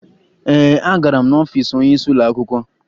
Ee, agara m n'ọfiisi onyeisi ụlọakwụkwọ